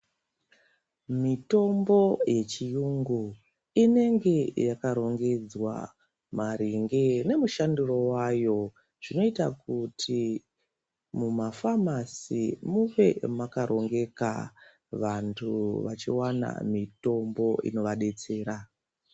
Mitombo yechiyungu inenge yakarongedzwa maringe nemushandiro wayo. Zvinoita kuti mumafamasi munge makarongeka. Vantu vachiwana mitombo inovadetsera.